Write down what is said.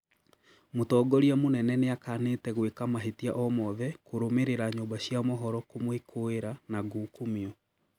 Mũtongoria mũnene nĩakanĩte gwĩka mahĩtia omothe kũrũmũrĩra nyũmba cia mohoro kumwĩkũĩra na ngukumio